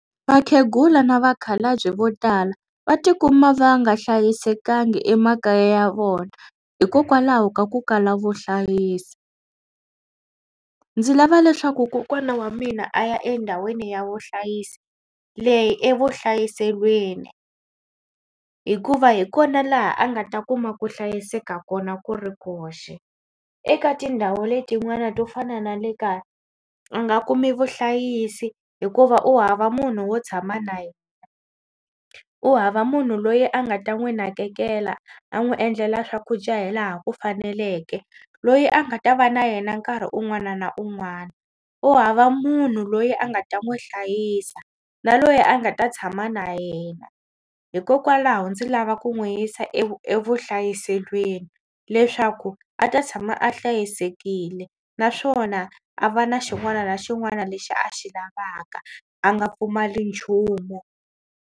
Vakhegula na vakhalabye vo tala va tikuma va nga hlayisekanga emakaya ya vona hikokwalaho ka ku kala vuhlayisi. Ndzi lava leswaku kokwana wa mina a ya endhawini ya vuhlayisi leyi evuhlayiselweni hikuva hi kona laha a nga ta kuma ku hlayiseka kona ku ri koxe. Eka tindhawu letiwani to fana na le kaya a nga kumi vuhlayisi hikuva u hava munhu wo tshama na yena. U hava munhu loyi a nga ta n'wi nakekela a n'wi endlela swakudya hi laha ku faneleke loyi a nga ta va na yena nkarhi un'wana na un'wana. U hava munhu loyi a nga ta n'wi hlayisa na loyi a nga ta tshama na yena hikokwalaho ndzi lava ku n'wi yisa evuhlayiselweni leswaku a ta tshama a hlayisekile naswona a va na xin'wana na xin'wana lexi a xi lavaka a nga pfumali nchumu.